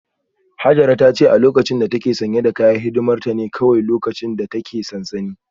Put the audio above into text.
Hajara ta ce a lokacin da ta ke sanye da kayan hidimar ta ne kawai lokacin da ta ke sansanin